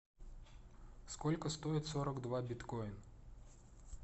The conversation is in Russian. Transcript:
сколько стоит сорок два биткоина